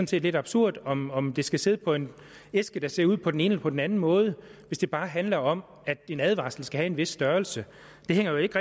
set lidt absurd om om det skal sidde på en æske der ser ud på den ene eller på den anden måde hvis det bare handler om at en advarsel skal have en vis størrelse det hænger jo ikke